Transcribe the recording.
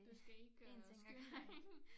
Du skal ikke skynde dig